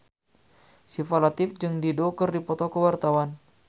Syifa Latief jeung Dido keur dipoto ku wartawan